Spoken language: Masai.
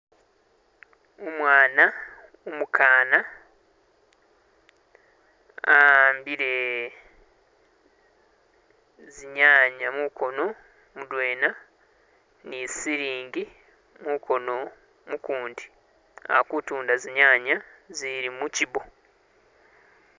Umwana umukana awambile zinyanya munkono mudwena ni silinji munkono mukundi alikutunda zinyanya izili mushibbo.